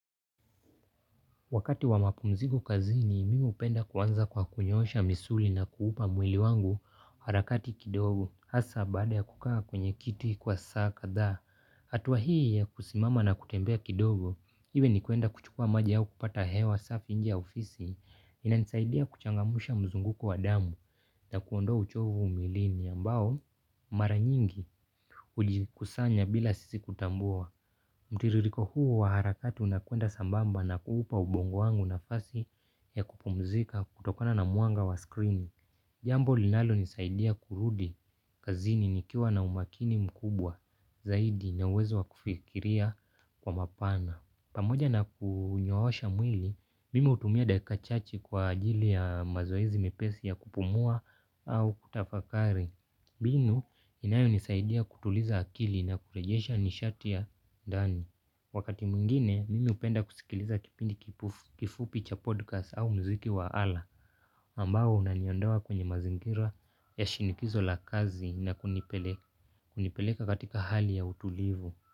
Wakati wa mapumziko kazini, mimi hupenda kuanza kwa kunyoosha misuli na kuupa mwili wangu harakati kidogo. Hasaa baada ya kukaa kwenye kiti kwa saa kadhaa hatua hii ya kusimama na kutembea kidogo. Iwe ni kwenda kuchukua maji au kupata hewa safi nje ya ofisi. Inanisaidia kuchangamsha mzunguko wa damu na kuondoa uchovu mwilini ambao mara nyingi hujikusanya bila sisi kutambua. Mtiririko huu wa harakati unakwenda sambamba na kuupa ubongo wangu nafasi ya kupumzika kutokana na mwanga wa screen. Jambo linalonisaidia kurudi kazini nikiwa na umakini mkubwa zaidi na uwezo wa kufikiria kwa mapana. Pamoja na kunyoosha mwili, mimi hutumia daka chache kwa ajili ya mazoezi mepesi ya kupumua au kutafakari mbinu, inayonisaidia kutuliza akili na kurejesha nishati ya ndani. Wakati mwingine, mimi hupenda kusikiliza kipindi kifupi cha podcast au muziki wa ala ambao unaniondoa kwenye mazingira ya shindikizo la kazi na kunipele kunipeleka katika hali ya utulivu.